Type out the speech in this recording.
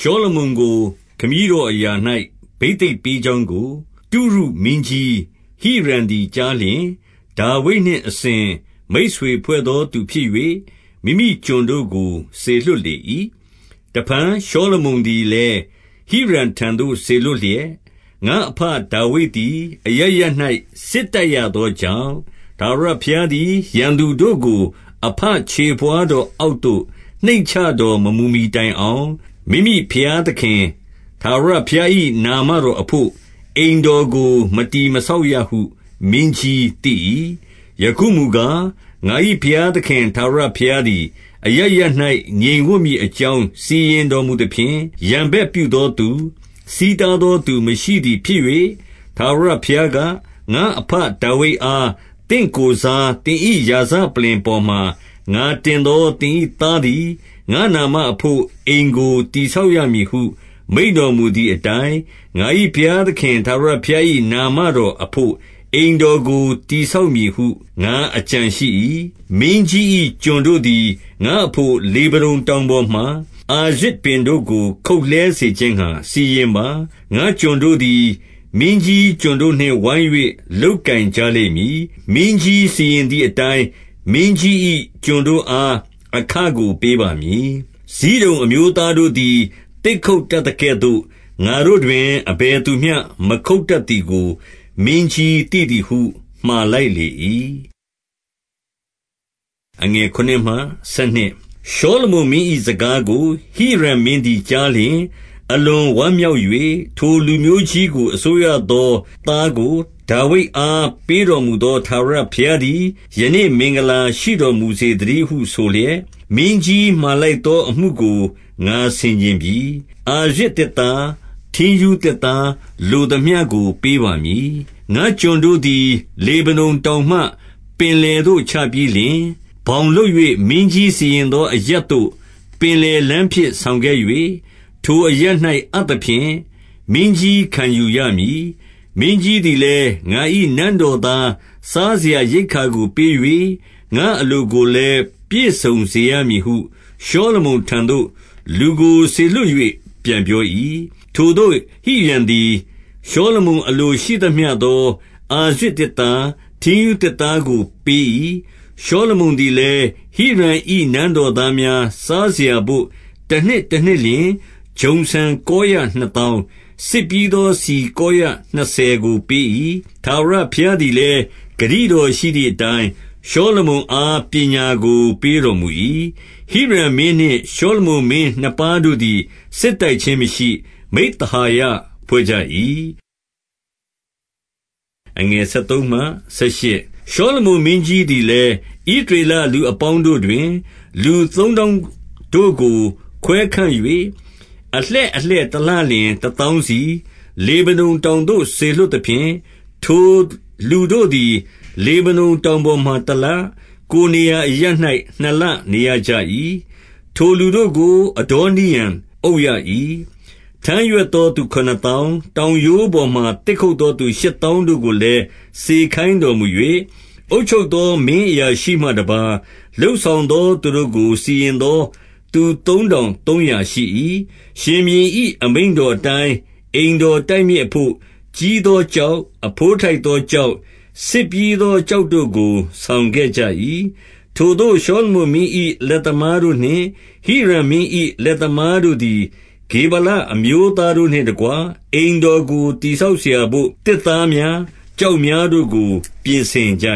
ရှောလမုန်ကို ခမည်းတော်အရာ၌ ဘိသိက်ပေး ကြောင်းကို တုရုမင်းကြီးဟိရံသည် ကြားလျှင်၊ ဒါဝိဒ်နှင့် အစဉ်မိတ်ဆွေဖွဲ့သော သူဖြစ်၍၊ မိမိကျွန်တို့ကို စေလွှတ် လေ၏။ တဖန်ရှောလမုန်သည်လည်း၊ ဟိရံထံသို့ စေ လွှတ်လျက်၊ ငါ့အဘဒါဝိဒ်သည် အရပ်ရပ်၌ စစ်တိုက်ရ သောကြောင့်၊ ထာဝရဘုရားသည် ရန်သူတို့ကို အဘခြေ ဘဝါးတော်အောက်သို့ နှိမ့်ချတော်မမူမှီတိုင်အောင်၊ မိမိဘုရားသခင်ထာဝရဘုရား၏ နာမတော်အဘို့ အိမ်တော်ကို မတည်မဆောက်ရဟု မင်းကြီးသိ၏။ ယခုမူကား၊ ငါ၏ဘုရားသခင်ထာဝရဘုရား သည် အရပ်ရပ်၌ ငြိမ်ဝပ်မည်အကြောင်း စီရင်တော်မူ သဖြင့်၊ ရန်ဘက်ပြုသောသူ၊ ဆီးတားသောသူ မရှိသည် ဖြစ်၍၊ ထာဝရဘုရားက၊ ငါ့အဘဒါဝိဒ်အား သင့် ကိုယ်စား သင်၏ရာဇပလ္လင်ပေါ်မှာ ငါတင်သော သင်၏ သားသည် ငါ့နာမအဘို့ အိမ်ကို တည်ဆောက်ရမည်ဟု မိန့်တော်မူသည်အတိုင်း၊ ငါ၏ဘုရားသခင် ထာဝရဘုရား ၏ နာမတော်အဘို့ အိမ်တော်ကို တည်ဆောက်မည်ဟု ငါအကြံရှိ၏။ မင်းကြီး၏ ကျွန်တို့သည် ငါ့အဘို့ လေဗနုန် တောင်ပေါ်မှာ အာရဇ်ပင်တို့ကို ခုတ်လှဲစေခြင်းငှါ စီရင် ပါ။ ငါ့ကျွန်တို့သည် မင်းကြီးကျွန်တို့နှင့်ဝိုင်း၍ လုပ်ကိုင် ကြလိမ့်မည်။ မင်းကြီးစီရင်သည်အတိုင်း၊ မင်းကြီး၏ ကျွန်တို့အား အခကိုပေးပါမည်။ ဇိဒုန်အမျိုးသားတို့သည် သစ်ခုတ်တတ်သကဲ့သို့ ငါ့တို့တွင် အဘယ်သူမျှ ခုတ်တတ် သည်ကို မင်းကြီးသိသည်ဟု မှာလိုက်လေ၏။ ရှောလမုန်မင်း၏စကားကို ဟိရံမင်းသည် ကြား လျှင် အလွန်ဝမ်းမြောက်၍၊ ထိုလူမျိုးကြီးကို အစိုးရသော သားကို ဒါဝိဒ်အားပေးတော်မူသော ထာဝရဘုရားသည် ယနေ့မင်္ဂလာရှိတော်မူစေသတည်းဟု ဆိုလျက်၊ မင်းကြီးမှာလိုက်သော အမှုကို ငါဆင်ခြင်ပြီ။ အာရဇ်သစ်သား၊ ထင်ရူးသစ်သားလိုသမျှကို ပေးပါမည်။ ငါ့ကျွန်တို့သည် လေဗနုန်တောင်မှ ပင်လယ်သို့ ချပြီးလျှင်၊ ဘောင်လုပ်၍ မင်းကြီးစီရင်သောအရပ်သို့ ပင်လယ်လမ်းဖြင့် ဆောင်ခဲ့၍၊ ထိုအရပ်၌အပ်သဖြင့် မင်းကြီးခံယူရမည်။ မင်းကြီးသည်လည်း၊ ငါ၏နန်းတော် သားစားစရာရိက္ခာကိုပေး၍ ငါ့အလိုကိုလည်း ပြည့်စုံ စေရမည်ဟု ရှောလမုန်ထံသို့ လူကိုစေလွှတ်၍ ပြန်ပြော ၏။ ထိုသို့ဟိရံသည် ရှောလမုန် အလိုရှိသမျှသော အာရဇ်သစ်သား၊ ထင်းရူးသစ်သားကို ပေး၏။ ရှောလမုန်သည်လည်း၊ ဟိရံ၏နန်းတော်သား များ စားစရာဘို့ တနှစ်တနှစ်လျှင် ဂျုံဆန်ကောရ နှစ်သောင်း၊ စစ်ပြီးသော ဆီကောရနှစ်ဆယ်ကို ပေး၏။ ထာဝရဘုရားသည်လည်း၊ ဂတိတော်ရှိသည် အတိုင်း၊ ရှောလမုန်အား ပညာကိုပေးတော်မူ၏။ ဟိရံမင်းနှင့်ရှောလမုန်မင်းနှစ်ပါးတို့သည် စစ်တိုက်ခြင်း မရှိ။ မိဿဟာယဖွဲ့ကြ၏။ ရှောလမုန်မင်းကြီးသည်လည်း၊ ဣသရေလလူ အပေါင်းတို့တွင် လူသုံးသောင်းတို့ကို ခွဲခန့်၍၊ အလှည့်အလှည့်တလလျှင်တသောင်းစီ၊ လေဗနုန် တောင်သို့ စေလွှတ်သဖြင့်၊ ထိုလူတို့သည် လေဗနုန်တောင် ပေါ်မှာတလ၊ ကိုယ်နေရာအရပ်၌ နှစ်လနေရကြ၏။ ထိုလူ တို့ကို အဒေါနိရံအုပ်ရ၏။ ထမ်းရွက်သောသူခုနစ်သောင်း၊ တောင်ရိုးပေါ် မှာ သစ်ခုတ်သောသူရှစ်သောင်းတို့ကိုလည်း စေခိုင်းတော် မူ၍၊ အုပ်ချုပ်သောမင်းအရာရှိမှတပါး လုပ်ဆောင်သော သူတို့ကို စီရင်သောသူ သုံးထောင်သုံးရာရှိ၏။ ရှင်ဘုရင်၏ အမိန့်တော်အတိုင်း အိမ်တော် တိုက်မြစ်အဘို့ ကြီးသောကျောက်၊ အဘိုးထိုက်သော ကျောက်၊ ဆစ်ပြီးသောကျောက်တို့ကို ဆောင်ခဲ့ကြ၏။ ထိုသို့ရှောလမုန်မင်း၏ လက်သမားတို့နှင့် ဟိရံမင်း၏လက်သမားတို့သည် ဂေဗာလအမျိုးသားတို့ နှင့်တကွ၊ အိမ်တော်ကို တည်ဆောက်စရာဘို့ သစ်သား များ၊ ကျောက်များတို့ကို ပြင်ဆင်ကြ